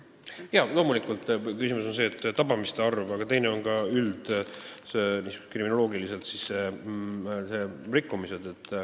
Jaa, loomulikult, üks asi on tabamiste arv, aga teine asi on rikkumised üldkriminoloogiliselt.